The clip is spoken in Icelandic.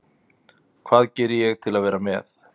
Hvað geri ég til að vera með?